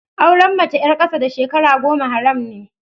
Auren mace ƴar ƙasa da shekara goma haram ne